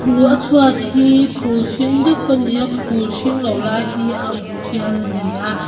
a chhuat hi phul hring dup a ni a phul hring lo lai hi a uk tial a ni a.